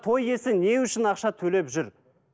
той иесі не үшін ақша төлеп жүр